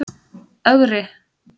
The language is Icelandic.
Ögri